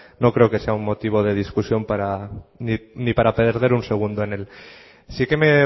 no creo que sea un motivo de discusión ni para perder un segundo en él sí que me